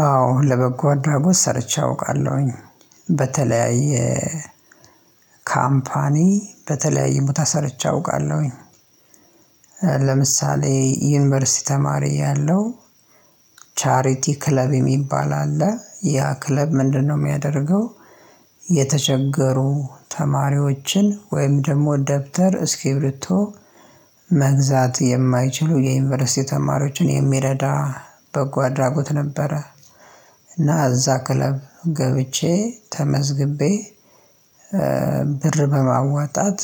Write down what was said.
አዎ ለበጎ አድራጎት ሰርቼ አውቃለሁኝ። በተለያየ ካምፓኒ በተለያዩ ቦታ ሰርቼ አውቃለሁኝ። ለምሳሌ ዩኒቨርሲቲ ተማሪ እያለው ቻሪቲ ክለብ የሚባል አለ ያ ክለብ ምንድነው የሚያደርገው የተቸገሩ ተማሪዎችን ወይም ደግሞ ደብተር እስኪብርቶ መግዛት የማይችሉ የዩኒቨርሲቲ ተማሪዎችን የሚረዳ በጎ አድራጎት ነበረ። እና እዛ ክለብ ገብቼ ተመዝግቤ ብር በማዋጣት